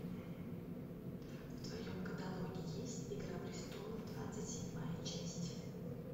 в твоем каталоге есть игра престолов двадцать седьмая часть